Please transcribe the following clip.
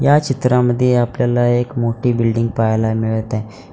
या चित्रामध्ये आपल्याला एक मोठी बिल्डिंग पहायला मिळत आहे.